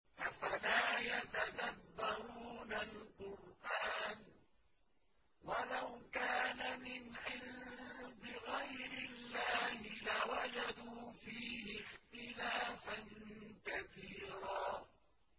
أَفَلَا يَتَدَبَّرُونَ الْقُرْآنَ ۚ وَلَوْ كَانَ مِنْ عِندِ غَيْرِ اللَّهِ لَوَجَدُوا فِيهِ اخْتِلَافًا كَثِيرًا